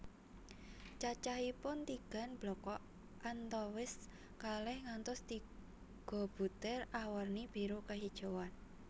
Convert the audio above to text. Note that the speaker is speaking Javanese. Cacaihpun tigan blekok antawis kalih ngantos tiga butir awerni biru kehijauan